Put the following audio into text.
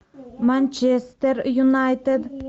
манчестер юнайтед